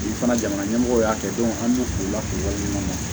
U fana jamana ɲɛmɔgɔw y'a kɛ an b'u k'u la k'u waleɲuman dɔn